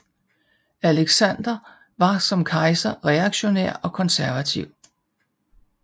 Aleksandr var som kejser reaktionær og konservativ